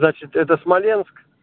значит это смоленск